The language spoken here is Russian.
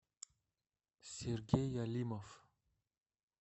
сергей алимов